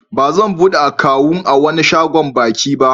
Ba zan buɗe akawun a wani sabon baki ba.